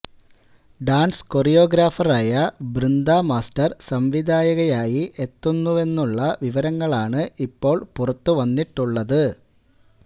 dance കോറിയോഗ്രാഫറായ Brinda master സംവിധായികയായി എത്തുന്നുവെന്നുള്ള വിവരങ്ങളാണ് ഇപ്പോള് പുറത്തുവന്നിട്ടുള്ളത്